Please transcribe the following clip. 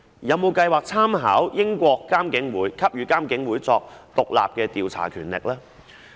有否計劃參考英國的做法，給予監警會進行獨立調查的權力呢？